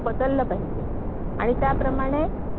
BSc sorry BSc झाला.